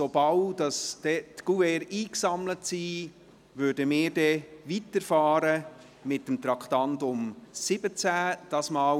Sobald die Kuverts eingesammelt sind, fahren wir mit dem Traktandum 17 weiter.